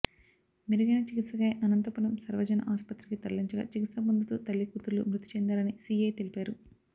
మెరుగైన చికిత్సకై అనంతపురం సర్వజన ఆసుపత్రికి తరలించగా చికిత్స పొందుతూ తల్లీ కూతుర్లు మృతి చెందారని సీఐ తెలిపారు